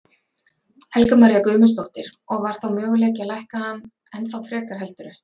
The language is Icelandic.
Helga María Guðmundsdóttir: Og var þá möguleiki að lækka hann ennþá frekar heldurðu?